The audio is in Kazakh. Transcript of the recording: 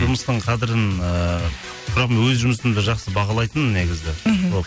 жұмыстың қадірін ііі бірақ мен өз жұмысымды жақсы бағалайтынмын негізі мхм